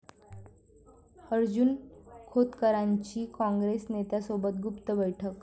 अर्जुन खोतकरांची काँग्रेस नेत्यासोबत गुप्त बैठक